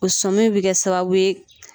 O sɔmi bi kɛ sababu ye